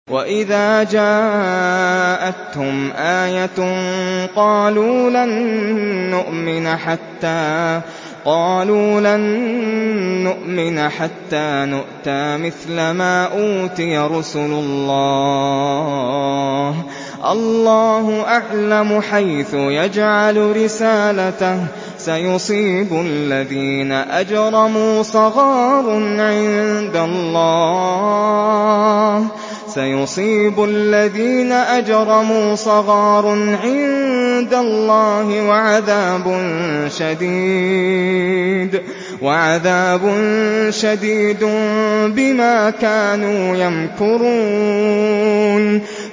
وَإِذَا جَاءَتْهُمْ آيَةٌ قَالُوا لَن نُّؤْمِنَ حَتَّىٰ نُؤْتَىٰ مِثْلَ مَا أُوتِيَ رُسُلُ اللَّهِ ۘ اللَّهُ أَعْلَمُ حَيْثُ يَجْعَلُ رِسَالَتَهُ ۗ سَيُصِيبُ الَّذِينَ أَجْرَمُوا صَغَارٌ عِندَ اللَّهِ وَعَذَابٌ شَدِيدٌ بِمَا كَانُوا يَمْكُرُونَ